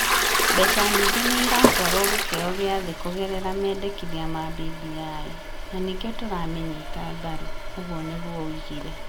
Mbeca nyingĩ nĩ iratwarwo gĩkĩro gĩa thĩ kũgerera mendekithia ma BBI, na nĩkĩo tũramũnyita mbaru. Ũguo nĩguo oigire.